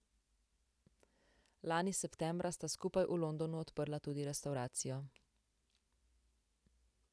Lani septembra sta skupaj v Londonu odprla tudi restavracijo.